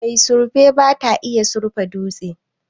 mai surfe bata iya surfa dutse